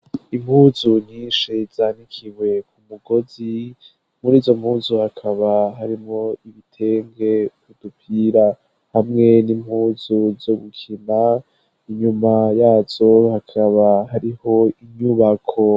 Impuzu nyinshi zanikiwe ku mugozi ,murizo mpuzu hakaba harimwo ibitenge, udupira hamwe n'impuzu zo gukina, inyuma yazo hakaba hariho inyubako.